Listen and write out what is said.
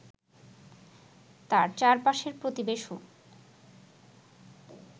তাঁর চারপাশের প্রতিবেশণ্ড